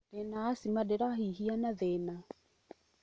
Ndĩna acima, ndĩrahihia na thĩna